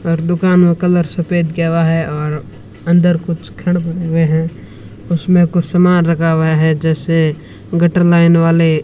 और दुकान में कलर सफेद किया हुआ है और अंदर कुछ घर बने हुए हैं उसमें कुछ सामान रखा हुआ है जैसे गटर लाइन वाले --